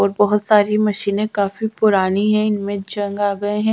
और बहोत सारी मशीने काफी पुरानी है इनमे जंग आ गय है।